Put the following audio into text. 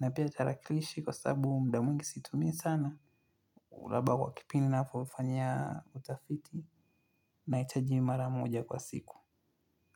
Na pia tarakilishi kwa sababu muda mwingi siitumii sana. Labda kwa kipini na kufanyia utafiti. Naichaji mara moja kwa siku.